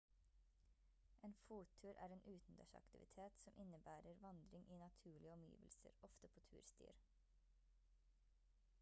en fottur er en utendørsaktivitet som innebærer vandring i naturlige omgivelser ofte på turstier